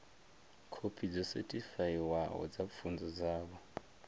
khophi dzo sethifaiwaho dza pfunzo dzavho